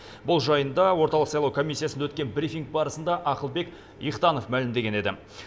бұл жайында орталық сайлау комиссиясында өткен брифинг барысында ақылбек ихтанов мәлімдеген еді